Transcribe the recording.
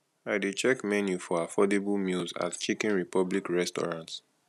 i dey check menu for affordable meals at chicken republic restaurant